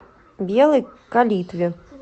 белой калитве